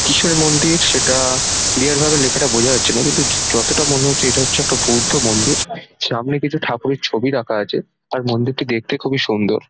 কিসের মন্দির সেটা-আ ক্লিয়ার ভাবে লেখাটা বোঝা যাচ্ছে না কিন্তু যতটা মনে হচ্ছে এটা হচ্ছে একটা বৌদ্ধ মন্দির সামনে কিছু ঠাকুরের ছবি রাখা আছে আর মন্দিরটি দেখতে খুবই সুন্দর।